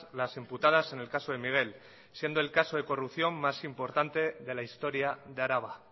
las imputadas en el caso de miguel siendo el caso de corrupción más importante de la historia de araba